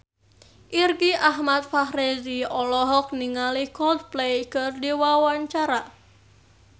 Irgi Ahmad Fahrezi olohok ningali Coldplay keur diwawancara